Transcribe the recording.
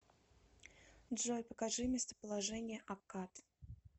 джой покажи местоположение аккад